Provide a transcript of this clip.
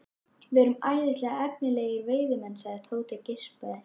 Við erum æðislega efnilegir veiðimenn sagði Tóti og geispaði.